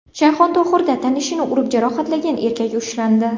Shayxontohurda tanishini urib jarohatlagan erkak ushlandi.